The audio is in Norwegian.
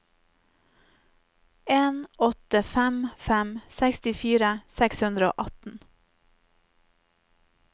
en åtte fem fem sekstifire seks hundre og atten